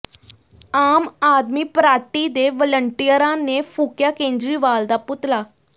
ਆਮ Aadmi party ਦੇ ਵਲੰਟੀਅਰਾਂ ਨੇ ਫੂਕਿਆ ਕੇਜਰੀਵਾਲ ਦਾ ਪੁਤਲਾ